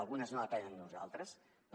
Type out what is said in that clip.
algunes no depenen de nosaltres però